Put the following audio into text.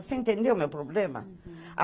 Você entendeu o meu problema?